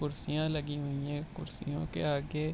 कुर्सियां लगी हुई है कुर्सियों के आगे --